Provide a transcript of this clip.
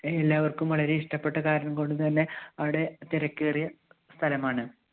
എല്ലാവർക്കും വളരെ ഇഷ്ടപ്പെട്ട കാരണം കൊണ്ടുതന്നെ അവിടെ തിരക്കേറിയ സ്ഥലമാണ്.